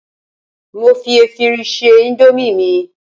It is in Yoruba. mo fi efirin se Indomie mi